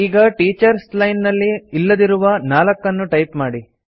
ಈಗ teachers line ನಲ್ಲಿ ಇಲ್ಲದಿರುವ 4 ನ್ನು ಟೈಪ್ ಮಾಡಿ